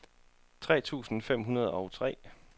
tre tusind fem hundrede og tre